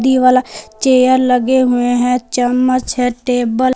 ये वाला चेयर लगे हुए हैं चम्मच है टेबल --